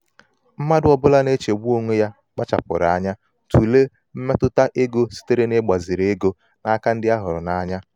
mmadụ ọbụla um na-echegbu onwe ya kpachapụrụ anya um tụlee mmetụta ego sitere n'igbaziri ego n'aka um ndị a hụrụ n'anya.